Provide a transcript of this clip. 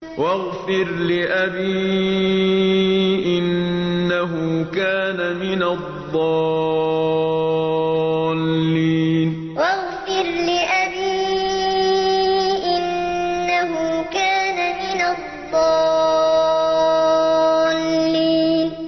وَاغْفِرْ لِأَبِي إِنَّهُ كَانَ مِنَ الضَّالِّينَ وَاغْفِرْ لِأَبِي إِنَّهُ كَانَ مِنَ الضَّالِّينَ